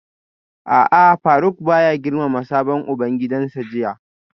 A'a Faruk baya girmama sabon ubangidansa jiya